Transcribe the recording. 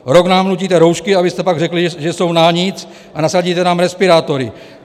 Rok nám nutíte roušky, abyste pak řekli, že jsou na nic, a nasadíte nám respirátory.